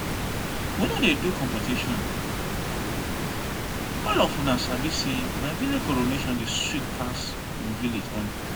we no dey do competition all of una sabi say my village coronation dey sweet pass im village own